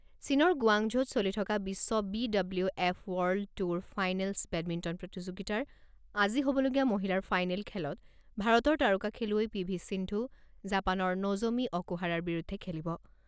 চীনৰ গুৱাংঝৌত চলি থকা বিশ্ব B W F world tour finals badminton প্ৰতিযোগিতাৰ আজি হ'বলগীয়া মহিলাৰ ফাইনেল খেলত ভাৰতৰ তাৰকা খেলুৱৈ পি ভি সিন্ধু জাপানৰ ন'জ'মি অকুহাৰাৰ বিৰুদ্ধে খেলিব।